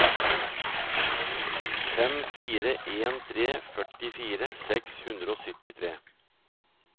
fem fire en tre førtifire seks hundre og syttitre